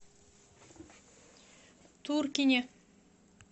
туркине